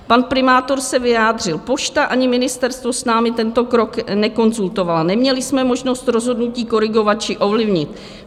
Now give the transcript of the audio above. Pan primátor se vyjádřil: "Pošta ani ministerstvo s námi tento krok nekonzultovalo, neměli jsme možnost rozhodnutí korigovat či ovlivnit.